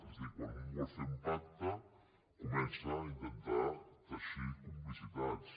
és a dir quan un vol fer un pacte comença a intentar teixir complicitats